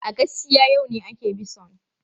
A gaskiya, yau ne ake bison.